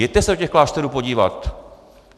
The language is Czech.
Jeďte se do těch klášterů podívat.